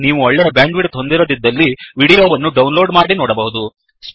ನೀವು ಒಳ್ಳೆಯ ಬ್ಯಾಂಡ್ವಿಿಡ್ತ್ ಹೊಂದಿರದಿದ್ದಲ್ಲಿ ವಿಡಿಯೋ ವನ್ನು ಡೌನ್ಲೋಡ್ ಮಾಡಿ ನೋಡಬಹುದು